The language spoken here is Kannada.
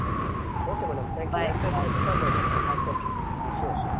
Okay madam thank you ಎಂತ ಇದ್ರೆಸ call ಮಾಡಿ okay sure sure.